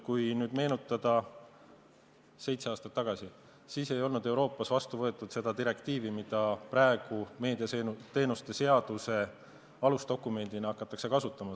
Kui nüüd meenutada, siis seitse aastat tagasi ei olnud Euroopas vastu võetud seda direktiivi, mida praegu meediateenuste seaduse alusdokumendina hakatakse kasutama.